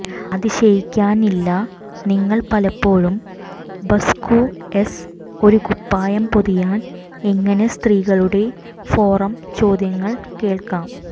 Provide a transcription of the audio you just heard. അതിശയിക്കാനില്ല നിങ്ങൾ പലപ്പോഴും ബസ്കുഎസ് ഒരു കുപ്പായം പൊതിയാൻ എങ്ങനെ സ്ത്രീകളുടെ ഫോറം ചോദ്യങ്ങൾ കേൾക്കാം